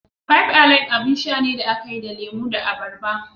Five Alive abin sha ne da aka yi da lemo da abarba.